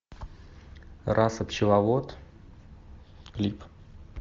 раса пчеловод клип